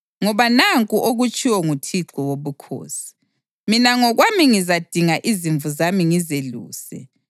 Ngoba nanku okutshiwo nguThixo Wobukhosi: Mina ngokwami ngizadinga izimvu zami ngizeluse.